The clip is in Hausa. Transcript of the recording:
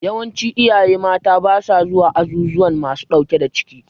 Yawancin iyaye mata ba sa zuwa azuzuwan masu ɗauke da ciki.